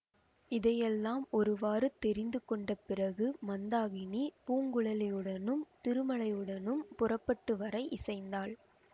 இதையெல்லாம் ஒருவாறு தெரிந்து கொண்ட பிறகு மந்தாகினி பூங்குழலியுடனும் திருமலையுடனும் புறப்பட்டு வர இசைந்தாள்